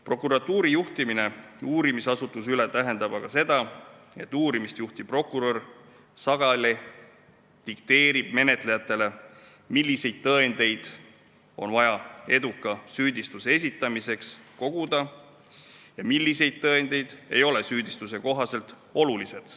Prokuratuuripoolne juhtimine tähendab uurimisasutusele aga seda, et uurimist juhtiv prokurör dikteerib sageli menetlejatele, milliseid tõendeid on vaja eduka süüdistuse esitamiseks koguda ja millised tõendid ei ole süüdistuse kohaselt olulised.